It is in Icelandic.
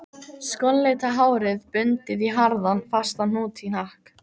Skollitað hárið bundið í harðan, fastan hnút í hnakk